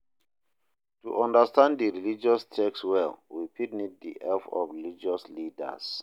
To understand di religious text well we fit need di help of religious leaders